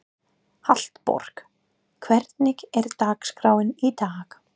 Hallborg, hvernig er dagskráin í dag?